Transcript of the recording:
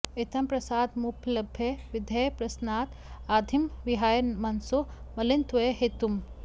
इत्थं प्रसादमुपलभ्य विधेः प्रसन्नात् आधिं विहाय मनसो मलिनत्वहेतुम्